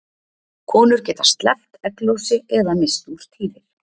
Konur geta sleppt egglosi eða misst úr tíðir.